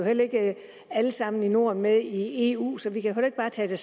heller ikke alle sammen i norden med i eu så vi kan ikke bare tage det